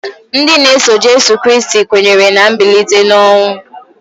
Ndị na-eso Jịsọs Kraịst kwenyere na mbilite n'ọnwụ.